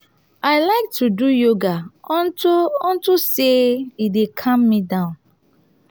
i like to do yoga unto unto say e dey calm me down